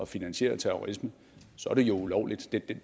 finansiere terrorisme så er det jo ulovligt det